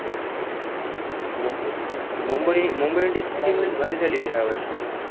मु मुंबई मुंबई indians ची team लयच भारी झाली रे ह्यावर्षी मग आता.